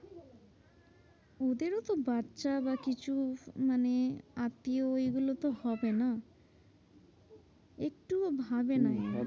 ওদেরতো বাচ্চা বা কিছু মানে আত্মীয় এগুলোতো হবে না? একটুও ভাবে না ওরা।